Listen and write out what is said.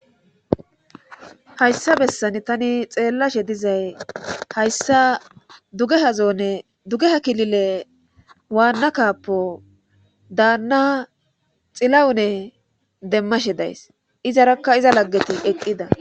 hayssa bessan tani xeellashe dizay hayssa dugehazoonne dugeha kilile waanna kappo daanna xilawune demmashe days izarakka iza laggeti eqqida